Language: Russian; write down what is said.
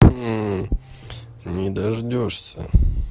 не дождёшься